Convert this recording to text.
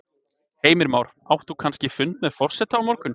Heimir Már: Átt þú þá kannski fund með forseta á morgun?